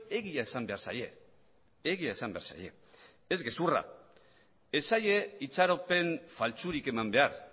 egia esan behar zaie egia esan behar zaie ez gezurra ez zaie itxaropen faltsurik eman behar